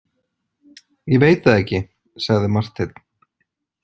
Ég veit það ekki, sagði Marteinn.